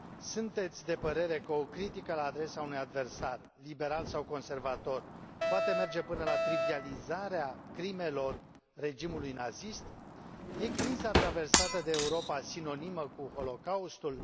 Sunteți de părere că o critică la adresa unui adversar, liberal sau conservator, poate merge până la trivializarea crimelor regimului nazist? Este criza traversată de Europa sinonimă cu Holocaustul?